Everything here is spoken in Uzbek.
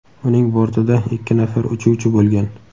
Uning bortida ikki nafar uchuvchi bo‘lgan.